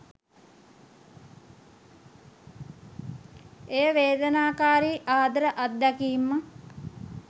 එය වේදනාකාරී ආදර අත්දැකීම්